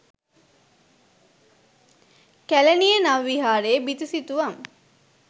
කැලණියේ නව විහාරයේ බිතු සිතුවම්